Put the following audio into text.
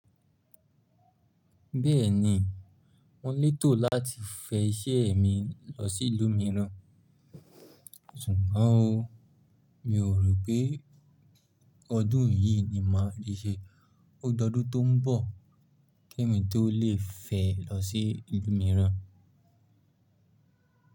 Bẹ́ẹ̀ni, mo lè tò láti fẹ iṣẹ́ mi lọ sí ìlú mìíràn, ṣùgbọ́n o, mi ò rò pé ọdún yìí ni màá rí ṣe. Ó dọdun tó n bọ̀ kí èmi tó lè fẹ lọ sí ìlú mìíràn.